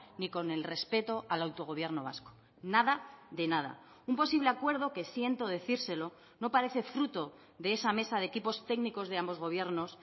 ni con el respeto al autogobierno vasco nada de nada un posible acuerdo que siento decírselo no parece fruto de esa mesa de equipos técnicos de ambos gobiernos